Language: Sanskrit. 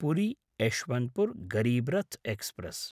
पुरी यश्वन्त्पुर् गरीब् रथ् एक्स्प्रेस्